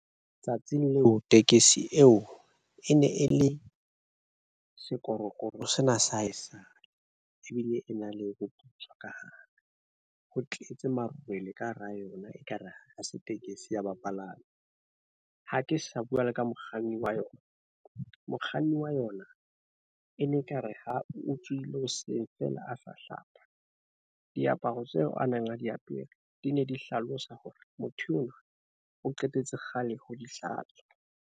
Letsatsing leo tekesi eo e ne e le sekorokoro sena sa haesale. Ebile e na le ho thuswa ka hare ho tletse marwele ka hara yona. Ekare ha se tekesi ya bapalami. Ha ke sa bua le ka mokganni wa yona. Mokganni wa yona e ne ekare ha o tsohile hoseng feela, a sa hlapa. Diaparo tseo a neng a di apere di ne di hlalosa hore motho oo o qetetse kgale ho di hlatswa.